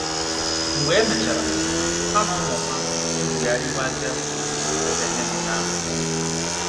Mgbe e mechara, ha na ụmụ ha egwugharịwazie gburugburu ebe anemone ahụ nọ.